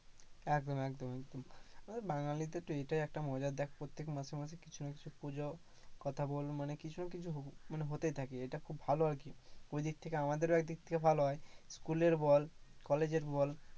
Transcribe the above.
একদম একদম, একদম, বাঙালিদের তো এটাই একটা মজা দেখ প্রত্যেক মাসে মাসেই কিছু না কিছু পূজোর কথা বল মানে কিছু না কিছু হতেই থাকে, ঐদিক থেকে আমাদেরও একদিক থেকে ভালো হয়। School এর বল college এর বল,